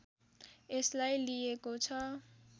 यसलाई लिइएको छ